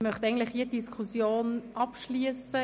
Ich möchte diese Diskussion eigentlich abschliessen.